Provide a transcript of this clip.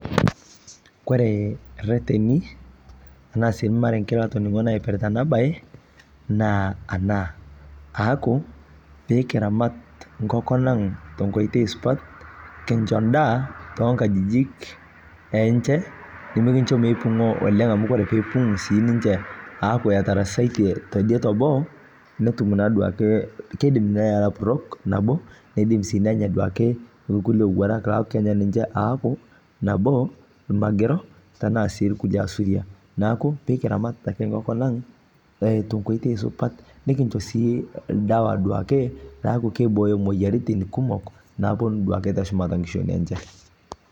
Koree reteni ashu irmarenken latoningo ipirta enabae na ana aaku pekiramat nkukui aang tenkoitoi supat kincho endaa tonkajikik enche nimikincho amu ore kumok neaku etarasaitie teboo netum naduo ake kidim nenya nkulie owuarak ashu aaku nabo irmagerobtana si lasuriak neaku pekiramat ake nkonkolang eimu nkoitoi supat nikisho si duake dawa peaku duake kibooyo moyiaritin kumok naponu teshumata nkishui enye.